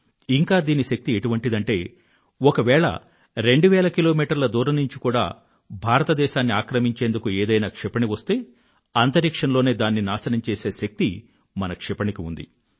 ఇంకా దీని శక్తి ఎటువంటిదంటే ఒకవేళ 2000 కిలోమీటర్ల దూరం నుండి కూడా భారతదేశాన్ని ఆక్రమించేందుకు ఏదైనా క్షిపణి వస్తే అంతరిక్షంలోనే దాన్ని నాశనం చేసే శక్తి మన క్షిపణి కి ఉంది